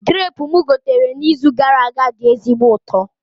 Grapu mụ gotere na izu gara aga dị ezigbo ụtọ